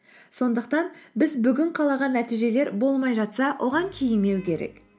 сондықтан біз бүгін қалаған нәтижелер болмай жатса оған кейімеу керек